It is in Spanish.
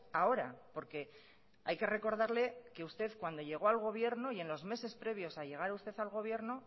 ahora porque hay que recordarle que usted cuando llegó al gobierno y en los meses previos a llegar a usted al gobierno